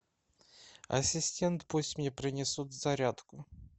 ассистент пусть мне принесут зарядку